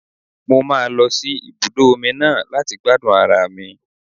Mo máa lọ sí ibùdó omi náà láti gbádùn ara mi.